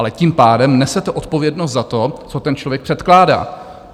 Ale tím pádem nesete odpovědnost za to, co ten člověk předkládá.